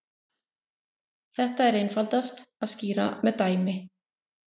Þetta er einfaldast að skýra með dæmi.